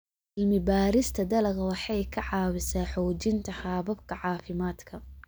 Cilmi-baarista dalagga waxay ka caawisaa xoojinta hababka caafimaadka.